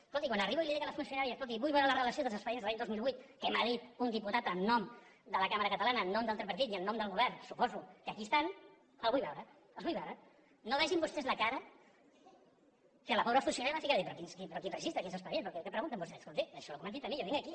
escolti quan arribo i li dic a la funcionària escolti vull veure la relació dels expedients de l’any dos mil vuit que m’ha dit un diputat de la cambra catalana en nom del tripartit i en nom del govern suposo que aquí estan la vull veure no vegin vostès la cara que la pobra funcionària va ficar de dir però quin registre quins expedients però què pregunten vostès escolti això és el que m’han dit a mi jo vinc aquí